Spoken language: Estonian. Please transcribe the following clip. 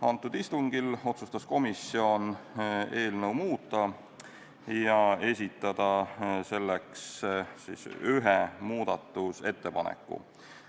Antud istungil otsustas komisjon eelnõu muuta ja esitada selleks ühe muudatusettepaneku.